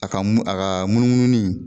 A ka mu a ka munumununi